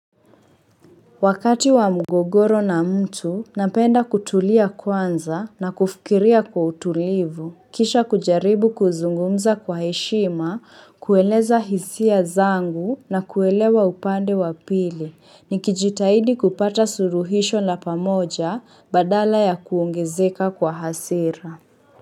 Wakati wa mgogoro na mtu, napenda kutulia kwanza na kufikiria kwa utulivu, kisha kujaribu kuzungumza kwa heshima, kueleza hisia zangu na kuelewa upande wa pili, nikijitahidi kupata suruhisho la pamoja badala ya kuongezeka kwa hasira.